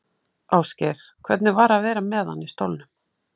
Ásgeir: Hvernig var að vera með hann í stólnum?